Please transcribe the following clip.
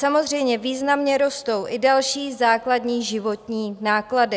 Samozřejmě významně rostou i další základní životní náklady.